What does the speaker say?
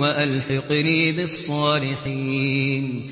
وَأَلْحِقْنِي بِالصَّالِحِينَ